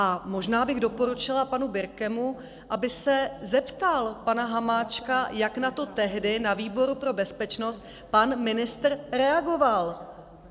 A možná bych doporučila panu Birkemu, aby se zeptal pana Hamáčka, jak na to tehdy na výboru pro bezpečnost pan ministr reagoval.